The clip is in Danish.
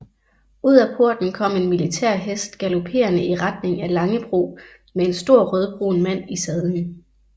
Ud af porten kom en militær hest galoperende i retning af Langebro med en stor rødbrun mand i sadlen